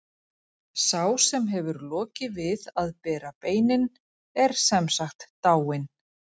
Sá sem hefur lokið við að bera beinin er sem sagt dáinn.